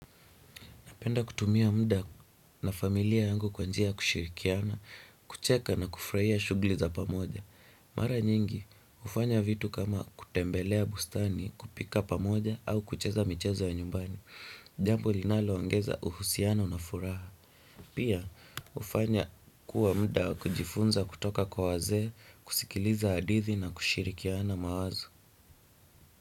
Napenda kutumia mda na familia yangu kwa njia ya kushirikiana, kucheka na kufurahia shuguli za pamoja. Mara nyingi, hufanya vitu kama kutembelea bustani kupika pamoja au kucheza michezo ya nyumbani. Jambo linaloongeza uhusiano na furaha. Pia, hufanya kuwa mda wa kujifunza kutoka kwa wazee, kusikiliza hadithi na kushirikiana mawazo.